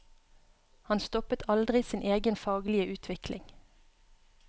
Han stoppet aldri sin egen faglige utvikling.